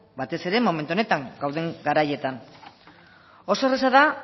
batez ere momentu honetan gauden garaietan oso erraza da